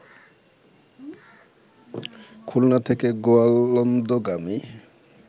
খুলনা থেকে গোয়ালন্দগামী